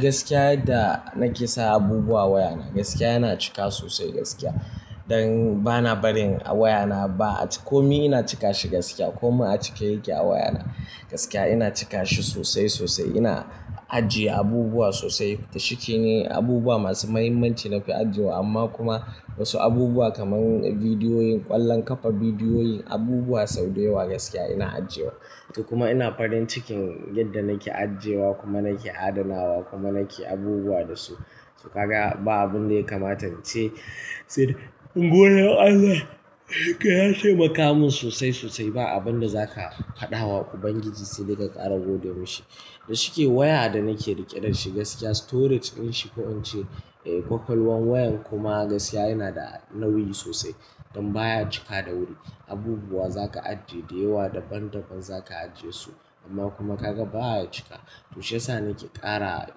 Gaskiya da nake sa abubuwa wayana, gaskiya yana cika sosai gaskiya. Don bana barin a wayana ba. Kome na cika shi gaskiya. Kome a cike yake a wayana. Gaskiya ina cika shi sosai sosai. Ina ajiye abubuwa sosai. Da shi ke ne abubuwa masu muhimmanci na fi ajiyewa amma kuma wasu abubuwa kaman bidiyoyin, ƙwallon ƙafa bidiyoyin, abubuwa sau da yawa gaskiya ina ajiyewa. To kuma ina farin cikin, yadda nake ajiyewa kuma nake adanawa kuma nake abubuwa da su. To ka ga ba abin da ya kamata ce, sai ka ce godiyar Allah ka ya taimaka min sosai sosai. Ba abin da za ka faɗawa Ubangiji sai dai ka ƙara gode ma shi. Da shi ke waya da nake riƙe da shi gaskiya storage din shi ko in ce ƙwaƙwalwan wayan kuma gaskiya yana da nauyi sosai. Don baya cika da wuri. Abubuwa za ka ajiye da yawa daban daban za ka ajiye su. Amma kuma ka ga baya cika. To shi ya sa nake ƙara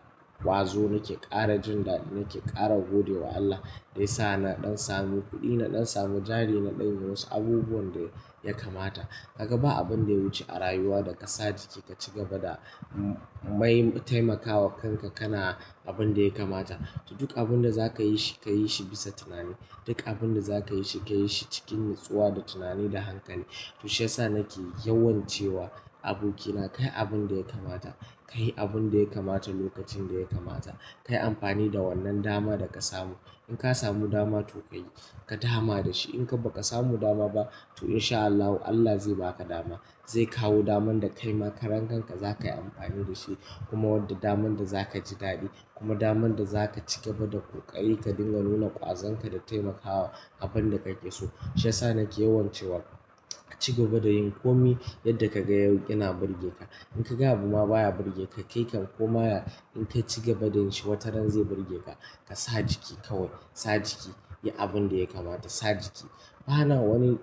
ƙwazo, nake ƙara jin daɗi, nake ƙara gode wa Allah. Da ya sa na ɗan samu kuɗi, na ɗan samu jari, na ɗan ga wasu abubuwan da ya kamata. Ka ga ba abin da ya wuce a rayuwa da ka sa jiki ka ci gaba da muhimman taimakawa kanka kana abin da ya kamata. To duk abin da za ka yi shi, ka yi shi bisa tunani. Duk abin da za ka yi shi, ka yi shi cikin natsuwa da tunani da hankali. To shi ya sa nake yawan cewa abokina, kai abin da ya kamata kayi abin da ya kamata lokacin da ya kamata. Kayi amfani da wannan dama da ka samu. In ka samu dama to ka yi, ka dama da shi. In ka ba ka samu dama ba to in sha Allahu Allah zai ba ka dama. Zai kawo daman da kai ma karen kanka za kayi amfani da shi. Kuma wadda daman da za ka ji daɗi. Kuma daman da za ka ci gaba da ƙurƙaye ka dinga nuna ƙwazon ka da taimakawa abin da ka ƙi so. Shi ya sa nake yawan cewa ka ci gaba da yin komai yadda ka ga yau yana burge ka. In ka ga abu ma baya burge ka, kai kan koma in ka ci gaba da yin shi wataran zai burge ka. Ka sa jiki kawai, sa jiki. Yi abin da ya kamata, sa jiki. Ba na wani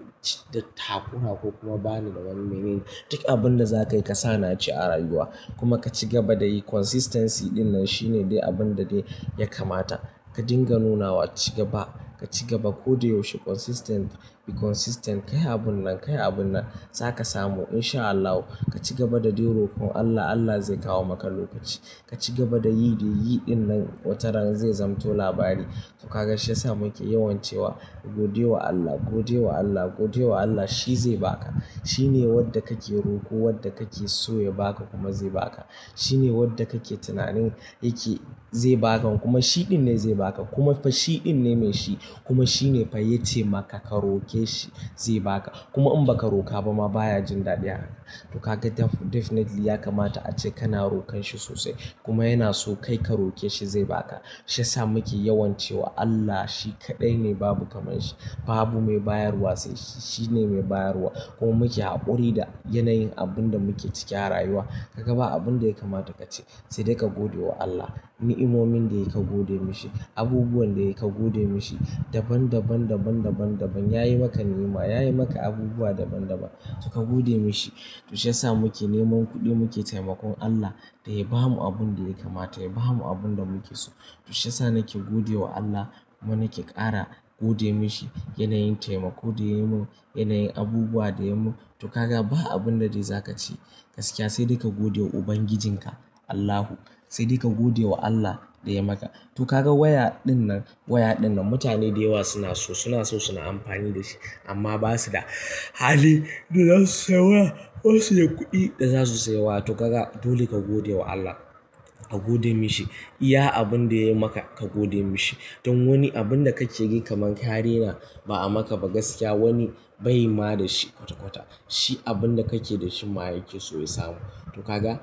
tafiya ko kuma ba ni da wani ma'anar duk abin da za ka yi ka sa naci a rayuwa. Kuma ka ci gaba da yi consistency din nan shine dai abin da dai ya kamata. Ka dinga nunawa ci gaba, ka ci gaba koda yaushe consistent, be consistent. Kai abun nan, kai abun nan. Za ka samu in sha Allahu. Ka ci gaba da dai rokon Allah, Allah zai kawo maka lokaci. Ka ci gaba da yi dai yi din nan wataran zai zamanto labari. To ka ga shi ya sa muke yawan cewa gode wa Allah, gode wa Allah, gode wa Allah. Shi zai ba ka. Shi ne wadda kake roko wadda kake so ya ba ka kuma zai ba ka. Shi ne wadda kake tunanin yake zai ba ka kuma shi din ne zai ba ka. Kuma fa shi din ne mai shi. Kuma shi ne fa ya taimaka ka roke shi zai ba ka. Kuma in ba ka roka ba ma baya jin daɗi haka. Toh ka ga definitely ya kamata ace kana rokon shi sosai. Kuma yana so kai ka roke shi zai ba ka. Shi ya sa muke yawan cewa Allah shi kaɗai ne babu kamar shi. Babu mai bayarwa sai shi, shi ne mai bayarwa. Ko muke haƙuri da yanayin abun da muke cike a rayuwa. Ka ga ba abin da ya kamata ka ce sai dai ka gode wa Allah. Ni'imomin da yayi ka gode mishi. Abubuwan da yayi ka gode mishi. Daban daban daban daban daban yayi maka ni'ima, yayi maka abubuwa daban daban toh ka gode mishi. Toh shi ya sa muke neman kuɗi muke taimakon Allah da ya bamu abun da ya kamata, ya bamu abun da muke so. To shi ya sa nake gode wa Allah kuma nake ƙara gode mishi yanayin taimako da ya mun, yanayin abubuwa da ya mun. To ka ga ba abun da dai za ka ce gaskiya sai dai ka gode wa Ubangijinka, Allahu. Sai dai ka gode wa Allah da ya maka. Toh ka ga waya din nan, waya din nan mutane da yawa suna so, suna so suna amfani da shi amma ba su da hali da za su saya waya ko su yi kuɗi da za su saya wa. Toh ka ga dole ka gode wa Allah. Ka gode mishi. Iya abin da yayi maka ka gode mishi. Don wani abun da ka ce yake kamanke hari na ba'a maka ba gaskiya wani bai ma da shi kwata kwata. Shi abun da kake da shi ma yake so ya samu. To ka ga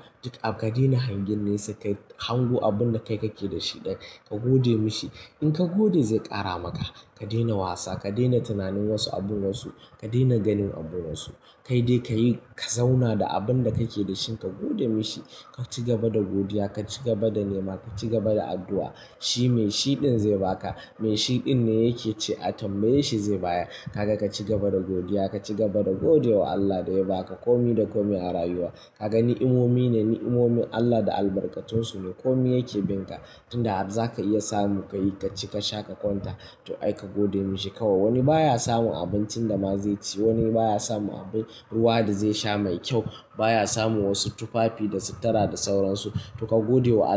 ka daina hangin nesa kai hango abun da kai kake da shi dai ka gode mishi. In ka gode zai ƙara maka. Ka daina wasa, ka daina tunanin wasu abun wasu, ka daina ganin abun wasu. Kai dai ka yi ka zauna da abun da kake da shi ka gode mishi. Ka ci gaba da godiya, ka ci gaba da ni'ima, ka ci gaba da addu'a. Shi mai shi din zai ba ka. Mai shi din ne yake ce atambaye shi zai bayar. Ka ga ka ci gaba da godiya, ka ci gaba da gode wa Allah da ya ba ka. Komi da komi a rayuwa. Ka ga ni'imomi ne, ni'imomin Allah da albarkatun su ne. Komi yake bin ka. Tun da har za ka iya samu ka yi ka ci ka sha ka kwanta. To ai ka gode mishi kawai. Wani baya samun abincin da ma zai ci. Wani baya samun abin ruwa da zai sha mai kyau. Baya samun wasu tufafi da su tara da sauransu. Toh ka gode wa Allah.